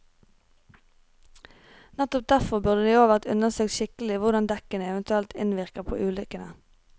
Nettopp derfor burde det i år vært undersøkt skikkelig hvordan dekkene eventuelt innvirker på ulykkene.